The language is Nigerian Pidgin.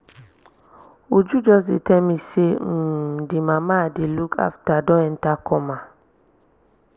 uju just dey tell me say um the mama i dey look after don enter coma